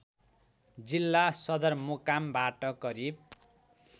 जिल्ला सदरमुकामबाट करिब